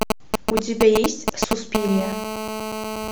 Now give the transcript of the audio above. у тебя есть суспирия